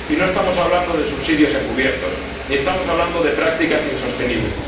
Y no estamos hablando de subsidios encubiertos ni estamos hablando de prácticas insostenibles